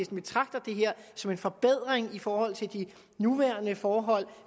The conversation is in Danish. betragter det her som en forbedring set i forhold til de nuværende forhold